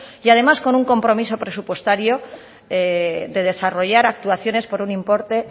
y además con un compromiso presupuestario de desarrollar actuaciones por un importe